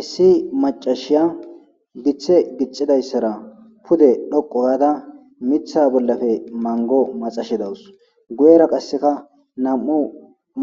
Issi macashiya githe gixidausara pude djoqu gada Mitha bollape mango maxashe daws guyera qase nam'u